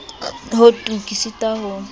ho tu ke sitwa ho